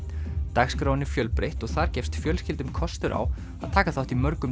dagskráin er fjölbreytt og þar gefst fjölskyldum kostur á að taka þátt í mörgum